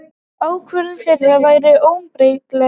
Ákvörðun þeirra væri óumbreytanleg.